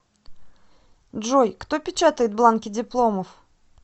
джой кто печатает бланки дипломов